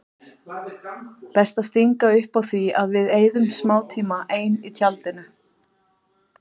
Best að stinga upp á því að við eyðum smátíma ein í tjaldinu.